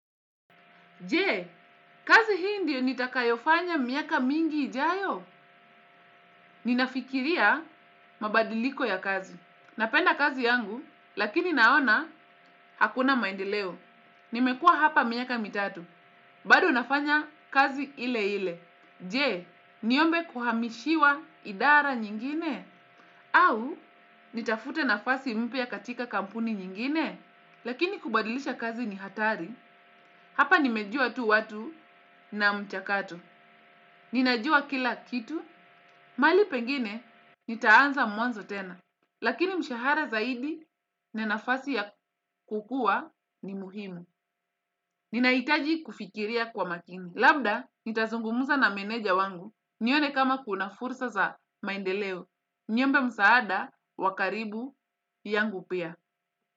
Je? Kazi hii ndio nitakayofanya miaka mingi ijayo? Ninafikiria mabadiliko ya kazi. Napenda kazi yangu, lakini naona hakuna maendeleo. Nimekua hapa miaka mitatu. Bado nafanya kazi ile ile. Je? Niombe kuhamishiwa idara nyingine? Au, nitafute nafasi mpya katika kampuni nyingine? Lakini kubadilisha kazi ni hatari, hapa nimejua tu watu na mchakato. Ninajua kila kitu, mali pengine nitaanza mwanzo tena, lakini mshahara zaidi na nafasi ya kukua ni muhimu. Ninaitaji kufikiria kwa makini. Labda, nitazungumuza na meneja wangu, nione kama kuna fursa za maendeleo. Niombe msaada, wa karibu yangu pia.